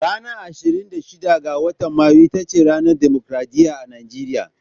Ranar ashrin da shida ga watan Mayu ita ce ranar dimokradiyya a Nigeriya.